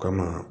Kama